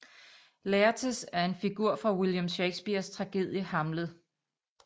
Laertes er en figur fra William Shakespeares tragedie Hamlet